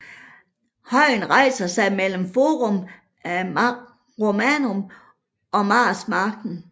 Højen rejser sig mellem Forum Romanum og Marsmarken